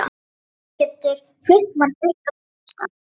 Hún getur flutt mann burt á betri stað.